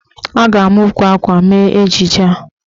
A ga-ama ukwu akwa mee ejije a.